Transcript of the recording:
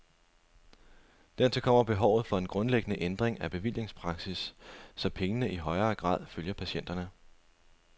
Dertil kommer behovet for en grundlæggende ændring af bevillingspraksis, så pengene i højere grad følger patienterne.